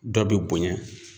Dɔ bɛ bonya